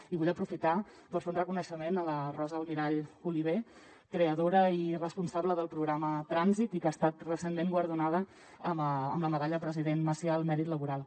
i vull aprofitar per fer un reconeixement a la rosa almirall oliver creadora i responsable del programa trànsit i que ha estat recentment guardonada amb la medalla president macià al mèrit laboral